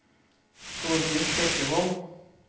Tordis Bekkevold